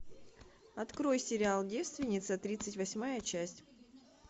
открой сериал девственница тридцать восьмая часть